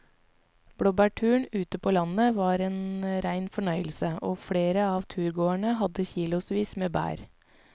Blåbærturen ute på landet var en rein fornøyelse og flere av turgåerene hadde kilosvis med bær.